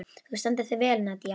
Þú stendur þig vel, Nadia!